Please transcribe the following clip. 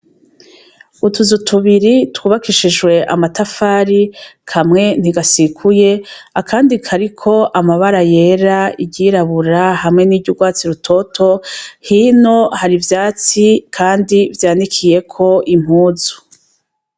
Utuzu tubiri twubakishijwe amatafari kamwe ntigasikuye akandi kariko amabara yera iryirabura hamwe niryugwatsi rutoto hino hari ivyatsi kandi vyanikiyeko impuzu.